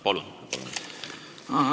Palun!